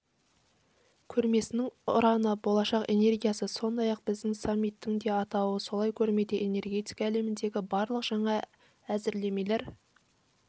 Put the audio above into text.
көрмесінің ұраны болашақ энергиясы сондай-ақ біздің саммиттің де атауы солай көрмеде энергетика әлеміндегі барлық жаңа әзірлемелер